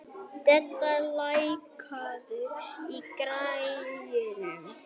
Dedda, lækkaðu í græjunum.